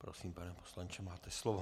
Prosím, pane poslanče, máte slovo.